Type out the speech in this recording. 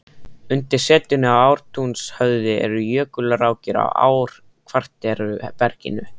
Undir setinu í Ártúnshöfða eru jökulrákir á ár-kvartera berginu.